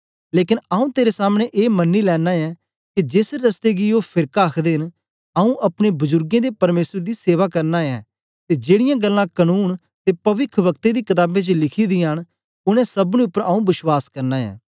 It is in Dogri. लेकन आंऊँ तेरे सामने ए मनी लेना ऐ के जेस रस्ते गी ओ फेरका आखदे न आंऊँ अपने बजुर्गें दे परमेसर दी सेवा करना ऐ ते जेड़ीयां गल्लां कनून ते पविखवक्तें दी कताबें च लिखी दियां न उनै सबनी उपर आंऊँ विश्वास करना ऐ